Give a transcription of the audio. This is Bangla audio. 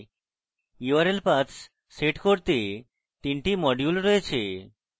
url paths সেট করতে তিনটি modules প্রয়োজন